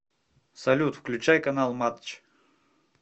салют включай канал матч